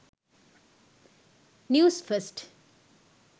news 1st